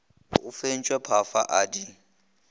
o fentšwe phafana a di